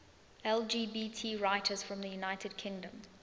lgbt writers from the united kingdom